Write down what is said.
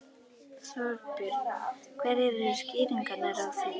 Þorbjörn: Hverjar eru skýringarnar á því?